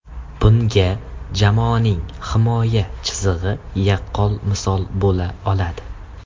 Bunga jamoaning himoya chizig‘i yaqqol misol bo‘la oladi.